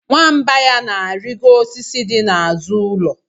Nwamba ya na-arịgo osisi dị n'azụ ụlọ.